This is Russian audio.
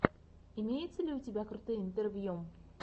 имеется ли у тебя крутые интервью